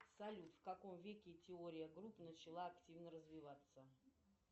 салют в каком веке теория групп начала активно развиваться